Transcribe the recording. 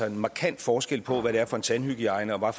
en markant forskel på hvad det er for en tandhygiejne og